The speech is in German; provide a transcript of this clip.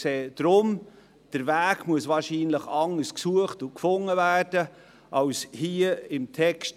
Deshalb sehen wir, dass der Weg dorthin wahrscheinlich anders gesucht und gefunden werden muss als hier im Text.